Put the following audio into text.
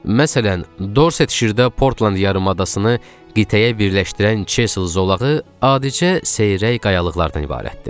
Məsələn, Dorset şirdə Portland yarımadasını qitəyə birləşdirən Çesl zolağı adicə seyrək qayalıqlardan ibarətdir.